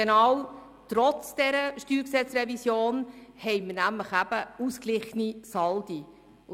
Trotz der StG-Revision weisen wir ausgeglichene Saldi auf.